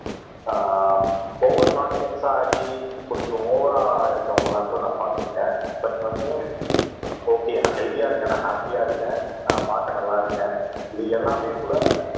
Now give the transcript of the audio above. ஆஹ் over confidence ஆகி கொஞ்சம் ஓவர இருக்கவங்க எல்லாம் கூட நான் பார்த்திருக்கேன் பட் வந்து ஓகே நான் ஹெல்த்தியா இருக்கேன் நான் ஹாப்பியா இருக்கேன் நான் பார்க்க நல்லா இருக்கேன் இது எல்லாமே கூட